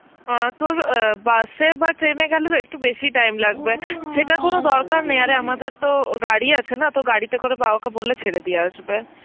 আঁ তোর অ্যাঁ bus এ বা train এ গেলে তো একটু বেশি time লাগবে, সেটার কোন দরকার নেই আরে আমাদের তো ও গাড়ি আছে না, তো গাড়িতে করে বাবাকে বললে ছেড়ে দিয়ে আসবে.